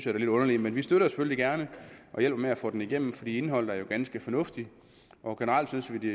er lidt underligt men vi støtter selvfølgelig gerne og hjælper med at få den igennem fordi indholdet er ganske fornuftigt og generelt synes vi